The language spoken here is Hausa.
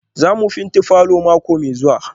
Za mu fenti falor mako mai zuwa?